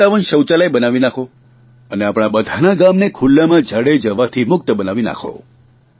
57 શૌચાલય બનાવી નાંખો અને આપણા બધાના ગામને ખુલ્લામાં ઝાડે જવાથી મુક્ત બનાવી નાંખો